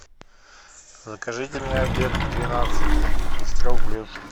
закажите мне обед к двенадцати из трех блюд